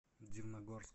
дивногорск